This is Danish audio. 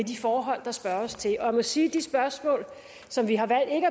de forhold der spørges til og jeg må sige de spørgsmål som vi har valgt ikke